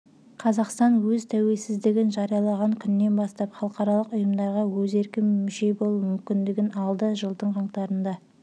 қазақстан өз тәуелсіздігін жариялаған күннен бастап халықаралық ұйымдарға өз еркімен мүше болу мүмкіндігін алды жылдың қаңтарында